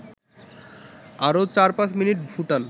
আরও ৪-৫ মিনিট ফুটান